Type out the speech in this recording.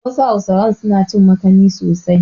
Wasu Hausawa na cin makani sosai.